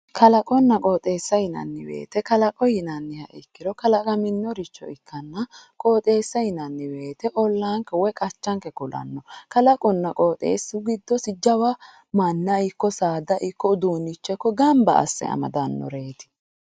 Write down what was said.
kalaqonna qooxeessa yinanni woyte kalaqo yinanniha ikkiro kalaqamminoha ikkanna qooxeessa yinanni woyte ollaanka woy qachanke kulanno kalaqunna qooxeessu giddosi jawa manna ikko saada ikko uduunnicho gamba asse amaddannoreeti.